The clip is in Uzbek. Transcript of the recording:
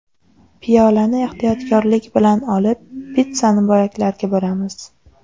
Piyolani ehtiyotkorlik bilan olib, pitssani bo‘laklarga bo‘lamiz.